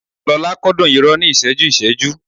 Lọ́la kúndùn irọ́ ní ìṣẹ́jú-ìṣẹ́jú